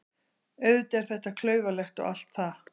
Auðvitað er þetta klaufalegt og allt það.